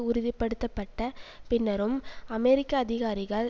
உறுதி படுத்த பட்ட பின்னரும் அமெரிக்க அதிகாரிகள்